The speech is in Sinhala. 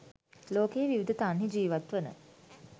ලෝකයේ විවිධ තන්හි ජීවත්වන